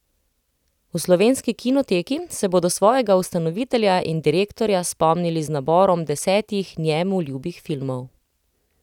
V Slovenski kinoteki se bodo svojega ustanovitelja in direktorja spomnili z naborom desetih njemu ljubih filmov.